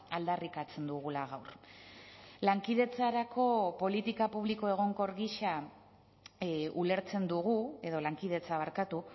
aldarrikatzen dugula gaur lankidetza